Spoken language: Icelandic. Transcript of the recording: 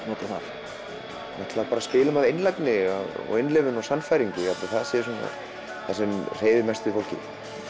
nota þar við bara spilum af einlægni innlifun og sannfæringu ég held að það sé það sem hreyfi mest við fólki